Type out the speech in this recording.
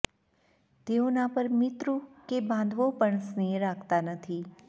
તેઓના પર મિત્રો કે બાંધવો પણ સ્નેહ રાખતા નથી